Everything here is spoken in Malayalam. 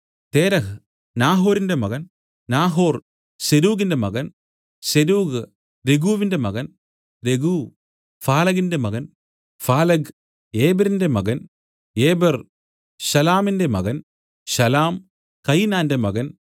തേരഹ് നാഹോരിന്റെ മകൻ നാഹോർ സെരൂഗിന്റെ മകൻ സെരൂഗ് രെഗുവിന്റെ മകൻ രെഗു ഫാലെഗിന്റെ മകൻ ഫാലെഗ് ഏബെരിന്റെ മകൻ ഏബെർ ശലാമിന്റെ മകൻ ശലാം കയിനാന്റെ മകൻ